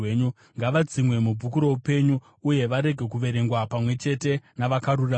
Ngavadzimwe mubhuku roupenyu, uye varege kuverengwa pamwe chete navakarurama.